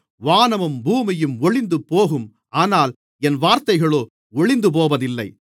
வானமும் பூமியும் ஒழிந்துபோகும் ஆனால் என் வார்த்தைகளோ ஒழிந்துபோவதில்லை